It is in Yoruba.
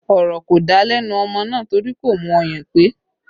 Ọ̀rọ̀ kò dá lẹ́nu ọmọ náà torí kò mú ọyàn pé